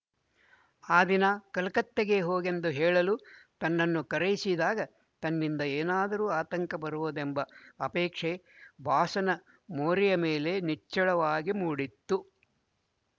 ಆ ದಿನ ಕಲಕತ್ತೆಗೆ ಹೊಗೆಂದು ಹೇಳಲು ತನ್ನನ್ನು ಕರೆಯಿಸಿದಾಗ ತನ್ನಿಂದ ಏನಾದರೂ ಆತಂಕ ಬರಬಹುದೆಂಬ ಅಪೇಕ್ಷೆ ಬಾಸನ ಮೋರೆಯ ಮೇಲೆ ನಿಚ್ಚಳವಾಗಿ ಮೂಡಿತ್ತು